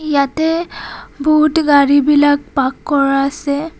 ইয়াতে বোহুত গাড়ী বিলাক পাৰ্ক কৰা আছে.